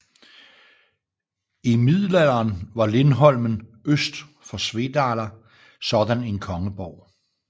I Middelalderen var Lindholmen øst for Svedala sådan en kongeborg